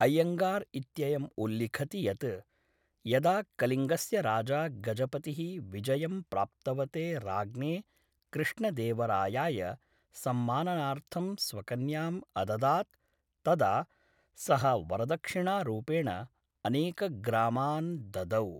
अय्यङ्गार् इत्ययम् उल्लिखति यत् यदा कलिङ्गस्य राजा गजपतिः विजयं प्राप्तवते राज्ञे कृष्णदेवरायाय सम्माननार्थं स्वकन्याम् अददात् तदा सः वरदक्षिणारूपेण अनेकग्रामान् ददौ।